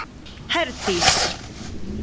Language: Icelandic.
Herdís